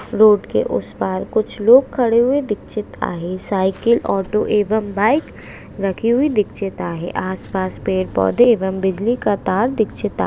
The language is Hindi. रोड के उस पार कुछ लोग कड़े हुए दिक्चित आहे साइकल ऑटो एवंम बाइक रखी हुई दिक्चित आहे आस-पास पेड़-पौधे एवंम बिजली का तार दिक्श्चीत आ --